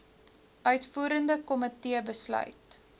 uitvoerende komitee besluit